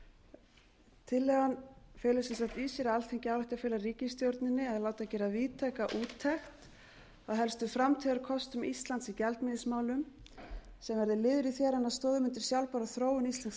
tillagan felur í sér að alþingi ályktar að fela ríkisstjórninni að láta gera víðtæka úttekt á helstu framtíðarkostum íslands í gjaldmiðilsmálum sem verði liður í því að renna stoðum undir sjálfbæra þróun íslensks